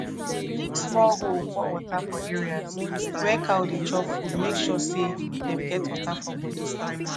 dem dig small hole pour water for areas where cow dey chop food make sure say dem get water for body